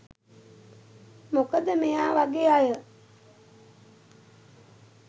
මොකද මෙයා වගේ අය